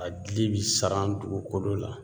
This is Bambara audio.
A dili bi saran dugukolo la